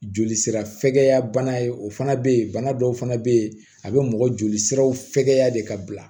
Joli sira fɛgɛya bana ye o fana bɛ yen bana dɔw fana bɛ yen a bɛ mɔgɔ joli siraw fɛkɛya de ka bila